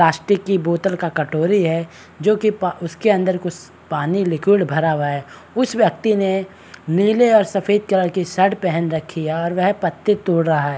Plastic की बोतल का कटोरी है जो कि प उसके अंदर कुस पानी लिक्विड भरा हुआ है उस व्यक्ति ने नीले और सफ़ेद कलर की शर्ट पहन रखी है और वह पत्ती तोड़ रहा है।